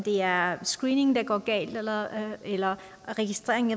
er screeningen der går galt eller eller registreringen